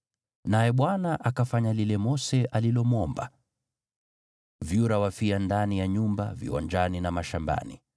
Naye Bwana akafanya lile Mose alilomwomba. Vyura wakafia ndani ya nyumba, viwanjani na mashambani.